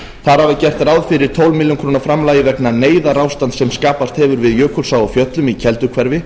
þar af er gert ráð fyrir tólf ber framlagi vegna neyðarástands sem skapast hefur við jökulsá á fjöllum í kelduhverfi